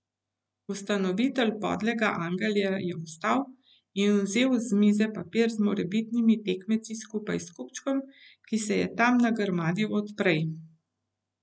Ustanovitelj Padlega angela je vstal in vzel z mize papir z morebitnimi tekmeci skupaj s kupčkom, ki se je tam nagrmadil od prej.